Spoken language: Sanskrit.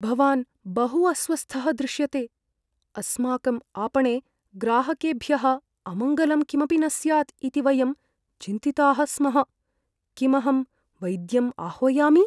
भवान् बहु अस्वस्थः दृश्यते, अस्माकम् आपणे ग्राहकेभ्यः अमङ्गलं किमपि न स्यात् इति वयं चिन्तिताः स्मः। किम् अहं वैद्यम् आह्वयामि?